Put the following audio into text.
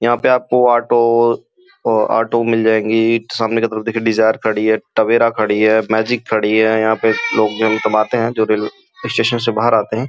यहाँ पे auto auto मिल जाएँगी सामने की तरफ देखो डिज़ार खड़ी है टवेरा खड़ी है मैजिक खड़ी है यहाँ पे लोग सब आते हैं जो रेलवे स्टेशन बाहर आते हैं।